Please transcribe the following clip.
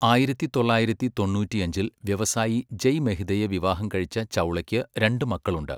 ആയിരത്തി തൊള്ളായിരത്തി തൊണ്ണൂറ്റിയഞ്ചിൽ വ്യവസായി ജയ് മെഹ്തയെ വിവാഹം കഴിച്ച ചൗളയ്ക്ക് രണ്ട് മക്കളുണ്ട്.